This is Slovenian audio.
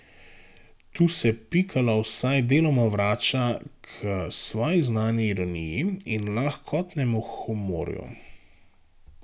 Tu se Pikalo vsaj deloma vrača k svoji znani ironiji in lahkotnemu humorju.